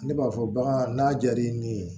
Ne b'a fɔ bagan n'a jar'i ye nin ye